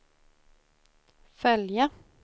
följa